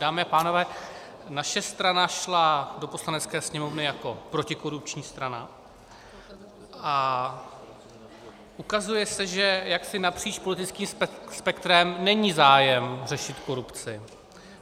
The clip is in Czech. Dámy a pánové, naše strana šla do Poslanecké sněmovny jako protikorupční strana a ukazuje se, že jaksi napříč politickým spektrem není zájem řešit korupci.